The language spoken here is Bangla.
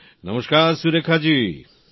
নমস্কার সুরেখা জী